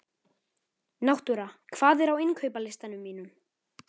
Náttúra, hvað er á innkaupalistanum mínum?